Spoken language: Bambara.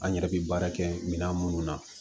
An yɛrɛ bɛ baara kɛ minan minnu na